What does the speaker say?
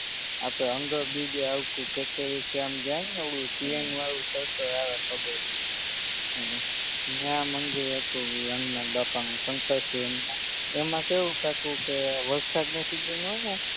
આપણે અન્ડરબ્રીજે આવતું કેકેવીથી આમ જાયેને હમ ઓલું પ્લેન વારુ સર્કલ આવે ખબર હોય તો હમ હમ ન્યા મંદિર હતું ઇ હનુમાનબાપાનું શંકરસિહ હનુમાન એમાં કેવું થાતું કે વરસાદની સિઝન હોય ને